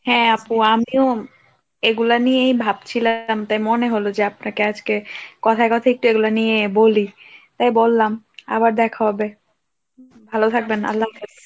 হ্যাঁ আপু আমিও এগুলা নিয়েই ভাবছিলাম তাই মনে হল যে আপনাকে আজকে, কথায় কথায় একটু এগুলা নিয়ে বলি তাই বললাম, আবার দেখা হবে ভালো থাকবেন, আল্লাহ হাফেজ।